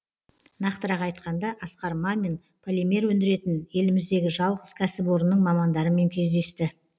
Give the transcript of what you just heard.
нақтырақ айтқанда асқар мамин полимер өндіретін еліміздегі жалғыз кәсіпорынның мамандарымен кездесті